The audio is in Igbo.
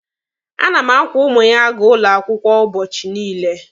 A na m akwọ ụmụ ya aga ụlọ akwụkwọ ụbọchị niile.